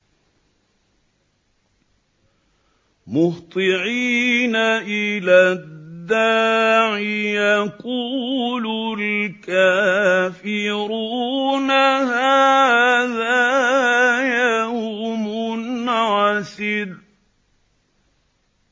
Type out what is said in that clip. مُّهْطِعِينَ إِلَى الدَّاعِ ۖ يَقُولُ الْكَافِرُونَ هَٰذَا يَوْمٌ عَسِرٌ